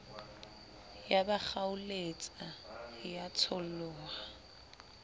ya ba kgaoletsa ya tsholoha